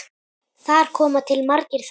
Þar koma til margir þættir.